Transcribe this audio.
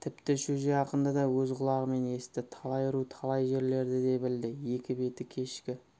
тіпті шөже ақынды да өз құлағымен есітті талай ру талай жерлерді де білді екі беті кешкі